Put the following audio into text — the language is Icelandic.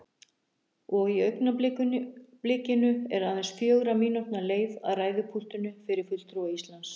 Og í augnablikinu er aðeins fjögurra mínútna leið að ræðupúltinu fyrir fulltrúa Íslands.